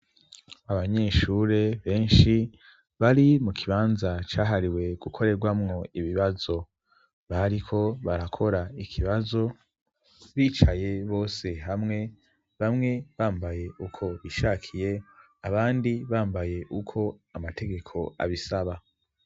Abanyeshure benshi bari mu kibanza cahariwe gukorerwamwo ibibazo bariko barakora ikibazo bicaye bose hamwe bamwe bambaye uko bishakiye abandi bambaye uko amategeko abisaba.